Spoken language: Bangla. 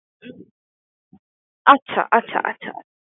হু আচ্ছা আচ্ছা আচ্ছা